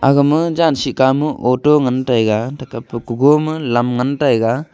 aga ma janshi ka mo auto ngan tai ga lam ngan tai ga.